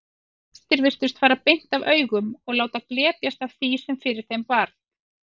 Flestir virtust fara beint af augum og láta glepjast af því sem fyrir þeim varð.